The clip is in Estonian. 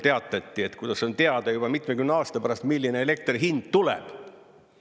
Teatati, kuidas on teada, juba mitmekümne aasta pärast, milline elektri hind tuleb.